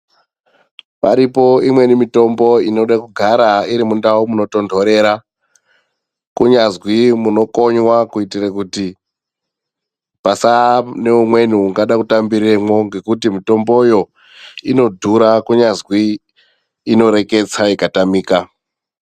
Paripo imweni mitombo inode kugara irimundau munotondorera kunyazwi munokonywa kuitira kuti pasaa neumweni ungada kutambiremwo kuti mitomboyo inodhura kunyazwi inoreketsa ikatamika.